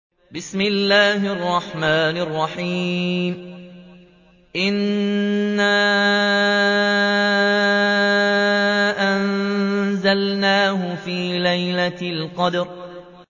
إِنَّا أَنزَلْنَاهُ فِي لَيْلَةِ الْقَدْرِ